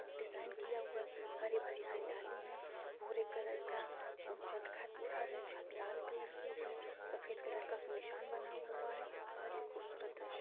design किया हुआ हरे भरे हरियाली है भूरे कलर का छत लाल कलर की है सफेद कलर का उसमें निशान बना हुआ है बहुत ही खूबसूरत दृश्य--